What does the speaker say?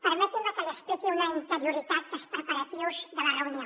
permeti’m que li expliqui una interioritat dels preparatius de la reunió